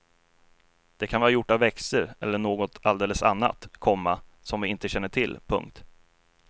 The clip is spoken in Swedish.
Det kan vara gjort av växter eller något alldeles annat, komma som vi inte känner till. punkt